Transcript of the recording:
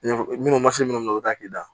Minnu ma se minnu ma o t'a k'i da